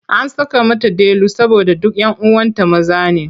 An saka mata Delu saboda duk 'yan uwanta maza ne.